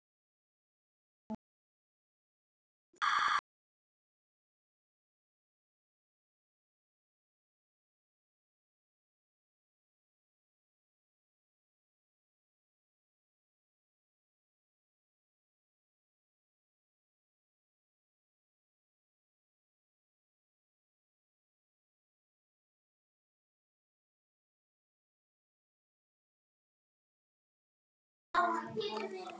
Við viljum ekki flókið líf.